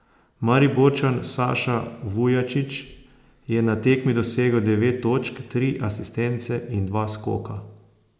Mariborčan Saša Vujačić je na tekmi dosegel devet točk, tri asistence in dve skoka.